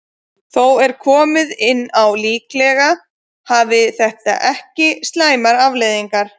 Þó er komið inn á að líklega hafi þetta ekki slæmar afleiðingar.